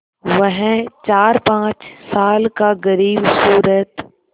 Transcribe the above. वह चारपाँच साल का ग़रीबसूरत